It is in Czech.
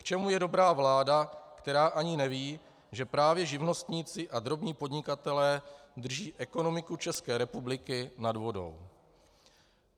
K čemu je dobrá vláda, která ani neví, že právě živnostníci a drobní podnikatelé drží ekonomiku České republiky nad vodou?